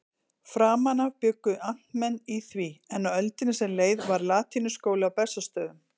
Framan af bjuggu amtmenn í því, en á öldinni sem leið var latínuskóli á Bessastöðum.